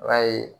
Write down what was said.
I b'a ye